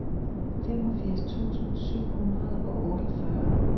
femogfirs tusind syv hundrede og otteogfyrre